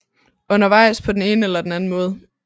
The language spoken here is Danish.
Undervejs på den ene eller den anden måde